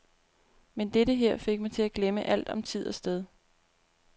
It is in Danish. Men dette her fik mig til at glemme alt om tid og sted.